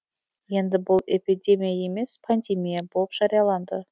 енді бұл эпидемия емес пандемия болып жарияланды